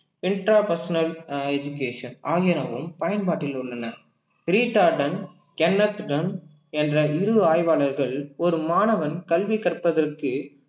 intra personal அஹ் education ஆகியனவும் பயன்பாட்டில் உள்ளன என்ற இரு ஆய்வாளர்கள் ஒரு மாணவன் கல்வி கற்பதற்கு